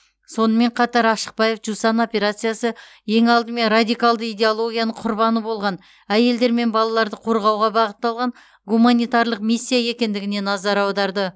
сонымен қатар ашықбаев жусан операциясы ең алдымен радикалды идеологияның құрбаны болған әйелдер мен балаларды қорғауға бағытталған гуманитарлық миссия екендігіне назар аударды